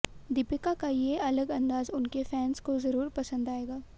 दीपिका का ये अलग अंदाज उनके फैन्स को जरूर पसंद आएगा